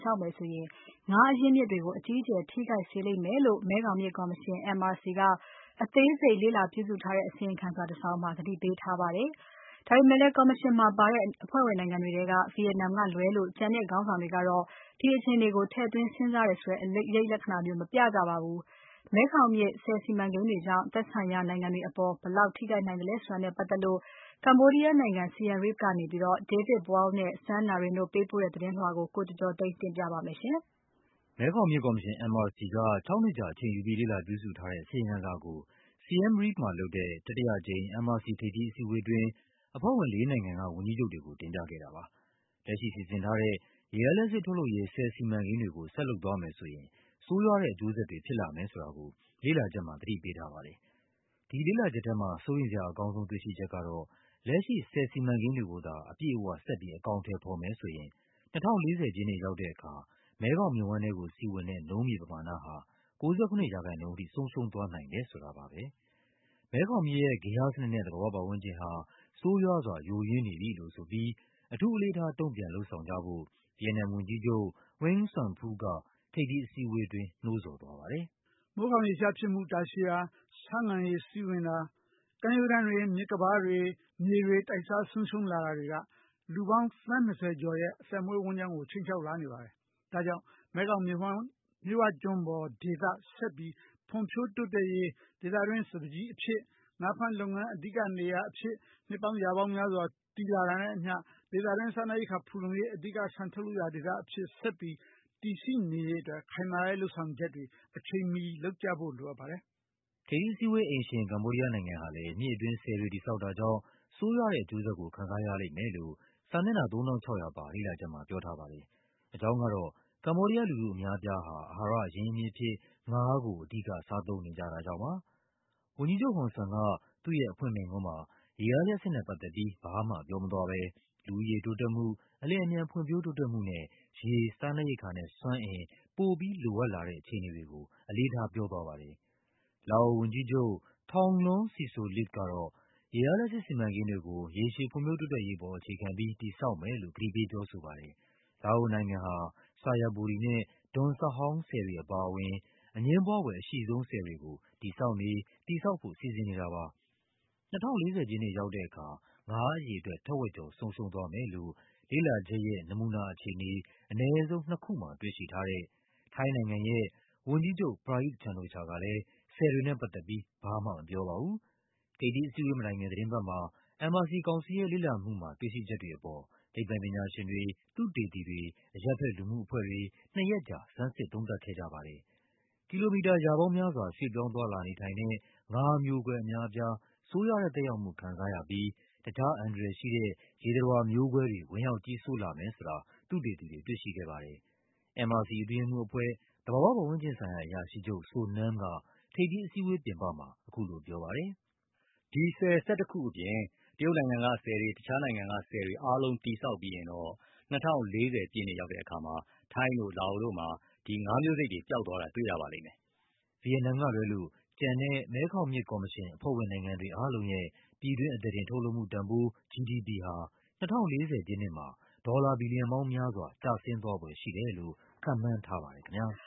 ဆောက်မယ်ဆိုရင် ငါးအရင်းအမြစ်တွေကို အကြီးအကျယ် ထိခိုက်စေလိမ့်မယ်လို့ မဲခေါင်မြစ်ကော်မရှင် MRC က အသေးစိတ် လေ့လာပြုစုထားတဲ့ အစီရင်ခံစာတစောင်မှာ သတိပေးထား ပါတယ်။ ဒါပေမဲ့လည်း ကော်မရှင်မှာပါတဲ့ အဖွဲ့ဝင်နိုင်ငံတွေထဲ ဗီယက်နမ်ကလွဲလို့ ကျန်တဲ့ခေါင်းဆောင်တွေကတော့ ဒီအခြေ အနေကို ထည့်သွင်းစဉ်းစားတယ်ဆိုတဲ့ အရိပ်လက္ခဏာမျိုး မပြကြပါဘူး။ မဲခေါင်မြစ် ဆည်စီမံကိန်းတွေကြောင့် သက်ဆိုင်ရာ နိုင်ငံတွေပေါ် ဘယ်လောက် ထိခိုက်လာနိုင်သလဲဆိုတာနဲ့ပတ်သက်ပြီး ကမ္ဘောဒီးယားနိုင်ငံ၊ Siem Reap မြို့ကနေ David Boyle နဲ့ Sun Narin တို့ပေးပို့ ထားတဲ့ သတင်းလွှာကို ကိုကျော်ကျော်သိန်းက ပြောပြပါမယ်။ မဲခေါင်မြစ်ကော်မရှင် MRC က ၆ နှစ်ကြာ အချိန်ယူပြီး လေ့လာပြုစုထားတဲ့ အစီရင်ခံစာကို Siem Reap မှာလုပ်တဲ့ တတိယအကြိမ် MRC ထိပ်သီး အစည်းအဝေးအတွင်း အဖွဲ့ဝင်လေးနိုင်ငံက ဝန်ကြီးချုပ်တွေကို တင်ပြခဲ့တာပါ။ လက်ရှိစီစဉ်ထား တဲ့ ရေအားလျှပ်စစ်ထုတ်လုပ်ရေး ဆည်စီမံကိန်းတွေကို ဆက်လုပ်သွားမယ်ဆိုရင် ဆိုးရွားတဲ့အကျိုးဆက်တွေ ဖြစ်လာမယ်ဆို တာကို လေ့လာချက်မှာ သတိပေးထားပါတယ်။ ဒီလေ့လာချက်ထဲမှာ စိုးရိမ်စရာအကောင်းဆုံး တွေ့ရှိချက်ကတော့ လက်ရှိဆည် စီမံကိန်းတွေကိုသာ အပြည့်အ၀ ဆက်ပြီး အကောင်အထည်ဖော်မယ်ဆိုရင် ၂၀၄၀ ပြည့်နှစ်ရောက်တဲ့အခါ မဲခေါင်မြစ်ဝှမ်းကိုစီးဝင်တဲ့ နုန်းမြေပမာဏဟာ ၉၇% ထိ ဆုံးရှုံး သွားနိုင်တယ်ဆိုတာပါပဲ။ မဲခေါင်မြစ်ရဲ့ ဂေဟစနစ်နဲ့ သဘာဝပတ်ဝန်းကျင်ဟာ ဆိုးရွားစွာ ယိုယွင်းနေပြီလို့ဆိုပြီး အထူးအလေးထား တုန့်ပြန်လုပ်ဆောင်ကြ ဖို့ ဗီယက်နမ်ဝန်ကြီးချုပ် Nguyen Xuan Phuc က ထိပ်သီးအစည်းအဝေးအတွင်း နှိုးဆော်သွားပါတယ်။ “မိုးခေါင်ရေရှားဖြစ်မှု တာရှည်တာ၊ ဆားငံရေစီးဝင်တာ၊ ကမ်းရိုးတန်းတွေ၊ မြစ်ကမ်းပါးတွေနဲ့ မြေတွေ တိုက်စား ဆုံးရှုံးလာတာတွေက လူပေါင်း သန်း ၂၀ ကျော်ရဲ့ အသက်မွေးဝမ်းကျောင်းကို ခြိမ်းခြောက်လာနေပါတယ်။ ဒါကြောင့် မဲခေါင်မြစ်ဝှမ်းမြစ်ဝကျွန်းပေါ်ဒေသ ဆက်ပြီး ဖွံ့ဖြိုးတိုးတက်ရေး၊ ဒေသတွင်းအတွက် စပါးကျီအဖြစ်၊ ငါးဖမ်းလုပ်ငန်းအဓိကနေရာ အဖြစ် နှစ်ပေါင်းရာပေါင်းများစွာ ဖြစ်တည်လာတာနဲ့အမျှ ဒေသတွင်း စားနပ်ရိက္ခာဖူလုံရေး အဓိက ဆန်ထုတ်လုပ်ရာဒေသအဖြစ် ဆက်ပြီး တည်ရှိနေရေးအတွက် ခိုင်မာတဲ့လုပ်ဆောင်ချက်တွေ အချိန်မီလုပ်ကြဖို့လိုပါတယ်။” ထိပ်သီးအစည်းအဝေးအိမ်ရှင် ကမ္ဘောဒီးယားနိုင်ငံဟာလည်း မြစ်အတွင်း ဆည်တွေတည်ဆောက်တာကြောင့် ဆိုးရွားတဲ့ အကျိုး ဆက်ကို ခံစားရလိမ့်မယ်လို့ စာမျက်နှာ ၃၆၀၀ ပါ လေ့လာချက်မှာ ပြောထားပါတယ်။ အကြောင်းကတော့ ကမ္ဘောဒီးယားလူထု အများအပြားဟာ အဟာရအရင်းအမြစ်အဖြစ် ငါးကို အဓိက စားသုံးနေကြတာကြောင့်ပါ။ ဝန်ကြီးချုပ်ဟွန်ဆန်က သူ့ရဲ့အဖွင့်မိန့်ခွန်းမှာ ရေအားလျှပ်စစ်နဲ့ပတ်သက်ပြီး ဘာမှပြောမသွားဘဲ လူဦးရေတိုးတက်မှု၊ အလျင် အမြန်ဖွံ့ဖြိုးတိုးတက်မှုနဲ့ ရေ၊ စားနပ်ရိက္ခာနဲ့ စွမ်းအင် ပိုပြီလိုအပ်လာတဲ့ အခြေအနေတွေကို အလေးထားပြောသွားပါတယ်။ လာအိုဝန်ကြီးချုပ် Thongloun Sisoulith ကတော့ ရေအားလျှပ်စစ်စီမံကိန်းတွေကို ရေရှည်ဖွံ့ဖြိုးတိုးတက်ရေးအပေါ် အခြေခံပြီး တည်ဆောက်မယ်လို့ ကတိပေးပြောဆိုပါတယ်။ လာအိုနိုင်ငံဟာ Xayaburi နဲ့ Don Sahong ဆည်တွေအပါအဝင် အငြင်းပွား ဖွယ်အရှိဆုံး ဆည်တွေကို တည်ဆောက်နေ၊ တည်ဆောက်ဖို့ စီစဉ်နေတာပါ။ ၂၀၄၀ ပြည့်နှစ်ရောက်တဲ့အခါ ငါးအရေအတွက် ထက်ဝက်ကျော် ဆုံးရှုံးသွားမယ်လို့ လေ့လာချက်ရဲ့ နမူနာအခြေအနေ အနည်း ဆုံးနှစ်ခုမှာ တွေ့ရှိထားတဲ့ ထိုင်းနိုင်ငံရဲ့ဝန်ကြီးချုပ် Prayuth Chan-o-cha ကလည်း ဆည်တွေနဲ့ပတ်သက်ပြီး ဘာမှမပြောပါဘူး။ ထိပ်သီးအစည်းအဝေးမတိုင်ခင် သီတင်းပတ်မှာ MRC ကောင်စီရဲ့ လေ့လာမှုမှာ တွေ့ရှိချက်တွေအပေါ် သိပ္ပံပညာရှင်တွေ၊ သုတေ သီတွေ၊ အရပ်ဖက်လူမှုအဖွဲ့တွေ နှစ်ရက်ကြာ ဆန်းစစ်သုံးသပ်ခဲ့ကြပါတယ်။ ကီလိုမီတာရာပေါင်းများစွာ ရွှေ့ပြောင်းသွားလာနေထိုင်တဲ့ ငါးအမျိုးကွဲ အများအပြား ဆိုးရွားတဲ့သက်ရောက်မှု ခံစားရပြီး တခြား အန္တရာယ်ရှိတဲ့ ရေသတ္တဝါမျိုးကွဲတွေ ဝင်ရောက်ကြီးစိုးလာမယ်ဆိုတာ သုတေသီတွေ တွေ့ရှိခဲ့ပါတယ်။ MRC အတွင်းရေးမှူးအဖွဲ့၊ သဘာဝပတ်ဝန်းကျင်ဆိုင်ရာ အရာရှိချုပ် So Nam က ထိပ်သီးအစည်းအဝေးပြင်ပမှာ အခုလိုပြောပါတယ်။ “ဆည် ၁၁ ခုအပြင် တရုတ်နိုင်ငံက ဆည်တွေ၊ တခြားနိုင်ငံတွေကဆည်တွေ အားလုံးတည်ဆောက်ပြီးရင်တော့ ၂၀၄၀ ပြည့်နှစ်ရောက်တဲ့အခါ ထိုင်းမှာ၊ လာအိုမှာ ငါးမျိုးကွဲတွေ ပျောက်သွားပါလိမ့်မယ်။” ဗီယက်နမ်ကလွဲလို့ ကျန်တဲ့ မဲခေါင်မြစ်ကော်မရှင် အဖွဲ့ဝင်နိုင်ငံတွေအားလုံးရဲ့ ပြည်တွင်း အသားတင် ထုတ်လုပ်မှုတန်ဖိုး GDP ဟာ ၂၀၄၀ ပြည့်နှစ်မှာ ဒေါ်လာဘီလီယံပေါင်းများစွာ ကျဆင်းသွားဖွယ်ရှိတယ်လို့ ခန့်မှန်းထားပါတယ်ခင်ဗျား။